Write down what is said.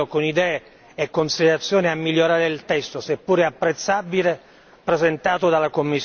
con idee e considerazioni a migliorare il testo, seppure apprezzabile, presentato dalla Commissione.